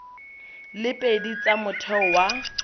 le pedi tsa motheo wa